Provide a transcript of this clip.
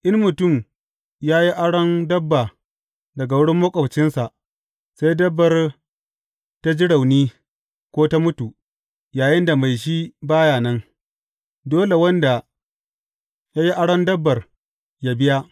In mutum ya yi aron dabba daga wurin maƙwabcinsa, sai dabbar ta ji rauni ko ta mutu, yayinda mai shi ba ya nan, dole wanda ya yi aron dabbar yă biya.